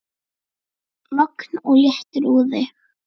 Logn og léttur úði.